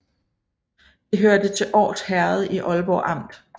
Det hørte til Års Herred i Aalborg Amt